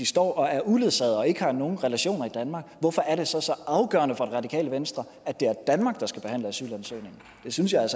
står og er uledsaget og ikke har nogen relationer i danmark hvorfor er det så så afgørende for radikale venstre at det er danmark der skal behandle asylansøgningen det synes jeg